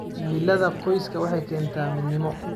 Himilada qoysku waxay keentaa midnimo.